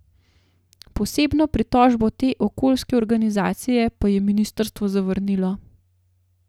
Posebno pritožbo te okoljske organizacije pa je ministrstvo zavrnilo.